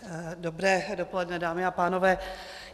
Dobré dopoledne, dámy a pánové.